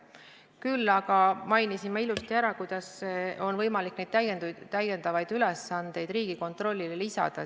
Küll aga ma mainisin ilusti ära, kuidas on võimalik neid täiendavaid ülesandeid Riigikontrollile lisada.